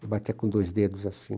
Ele batia com dois dedos assim.